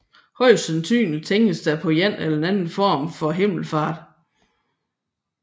Højst sandsynlig tænkes der på en eller anden form for himmelfart